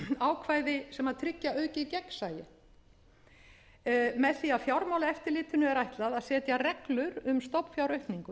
ákvæði sem tryggja aukið gegnsæi með því að fjármálaeftirlitinu er ætlað að setja reglur um stofnfjáraukningu